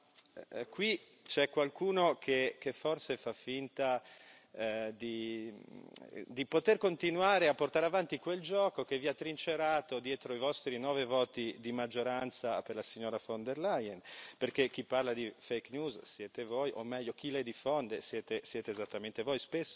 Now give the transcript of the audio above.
Tuttavia qui c'è qualcuno che forse fa finta di poter continuare a portare avanti quel gioco che vi ha trincerato dietro i vostri nove voti di maggioranza per la signora von der Leyen, perché chi parla di fake news siete voi, o meglio chi le diffonde siete esattamente voi.